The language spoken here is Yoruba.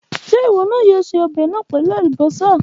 Ṣe iwọ yoo ṣe ọbẹ naa pẹlu alubosa?